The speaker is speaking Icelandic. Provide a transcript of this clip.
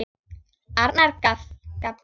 Arnar gapti.